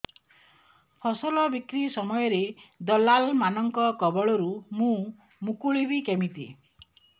ଫସଲ ବିକ୍ରୀ ସମୟରେ ଦଲାଲ୍ ମାନଙ୍କ କବଳରୁ ମୁଁ ମୁକୁଳିଵି କେମିତି